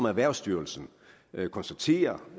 erhvervsstyrelsen konstaterer